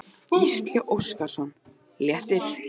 Gísli Óskarsson: Léttir?